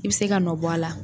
I bi se ka nɔ bɔ a la.